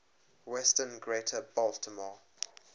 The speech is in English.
western greater baltimore